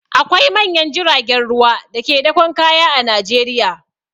Akwai manyan jiragen ruwa da ke dakon kaya a Najeriya.